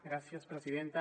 gràcies presidenta